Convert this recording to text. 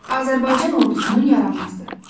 Azərbaycan ordusunun yaranması.